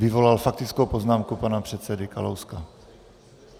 Vyvolal faktickou poznámku pana předsedy Kalouska.